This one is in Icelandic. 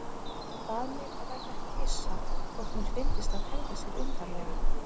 Hann bað mig að verða ekki hissa þótt mér fyndist hann hegða sér undarlega.